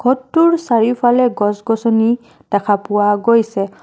ঘৰটোৰ চাৰিওফালে গছ গছনি দেখা পোৱা গৈছে।